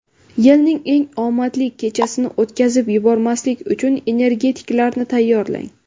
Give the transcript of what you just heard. Yilning eng omadli kechasini o‘tkazib yubormaslik uchun energetiklarni tayyorlang!